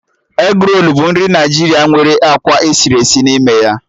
Egrolu bụ nri Naijiria nwere akwa esiri esi n'ime ya